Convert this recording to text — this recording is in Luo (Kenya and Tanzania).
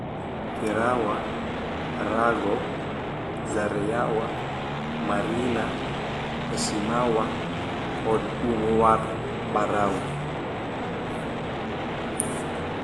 Kerawa, Rago, Zareyawa, Marina, Hashimawa, kod Unguwar Barau,